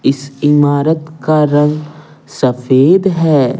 इस इमारत का रंग सफेद है।